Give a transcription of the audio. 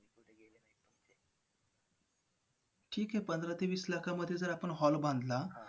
ठीक आहे. पंधरा ते वीस लाख मध्ये आपण जर hall बांधला,